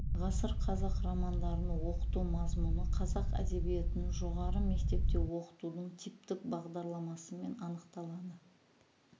ғасыр қазақ романдарын оқыту мазмұны қазақ әдебиетін жоғары мектепте оқытудың типтік бағдарламасымен анықталады